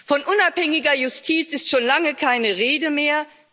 Von unabhängiger Justiz ist schon lange keine Rede mehr.